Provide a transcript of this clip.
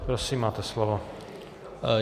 Prosím, máte slovo.